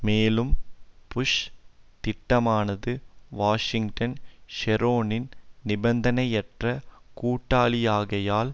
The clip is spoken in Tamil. மேலும் புஷ் திட்டமானது வாஷிங்டன் ஷெரோனின் நிபந்தனையற்ற கூட்டாளியாகையால்